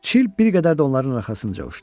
Çil bir qədər də onların arxasınca uçdu.